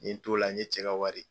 N ye n t'o la n ye cɛ ka wari